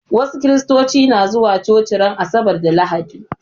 Wasu Kiristoci na zuwa coci ran asabar da lahadi